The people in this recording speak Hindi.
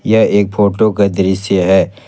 यह एक फोटो का दृश्य है।